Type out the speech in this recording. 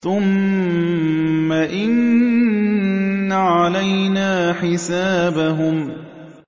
ثُمَّ إِنَّ عَلَيْنَا حِسَابَهُم